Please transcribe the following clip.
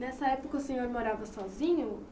Nessa época o senhor morava sozinho?